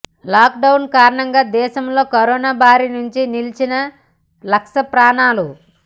lockdown కారణంగా దేశంలో corona బారి నుంచి నిలిచిన లక్ష ప్రాణాలు